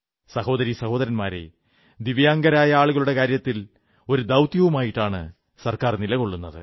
സഹോദരീ സഹോദരന്മാരേ ദിവ്യാംഗരായ ആളുകളുടെ കാര്യത്തിൽ ഒരു ദൌത്യവുമായിട്ടാണ് സർക്കാൻ നിലകൊള്ളുന്നത്